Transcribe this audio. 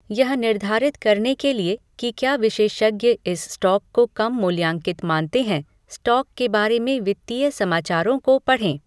यह निर्धारित करने के लिए कि क्या विशेषज्ञ इस स्टॉक को कम मूल्यांकित मानते हैं, स्टॉक के बारे में वित्तीय समाचारों को पढ़ें।